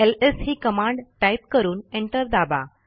LS ही command type करून enter दाबा